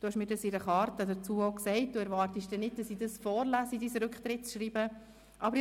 In einer Karte dazu hast du mir auch gesagt, du würdest nicht erwarten, dass ich das Rücktrittsschreiben vorlese.